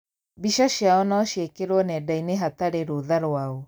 mbica ciao no ciĩkĩrwo nenda-inĩ hatarĩ rũtha rwao.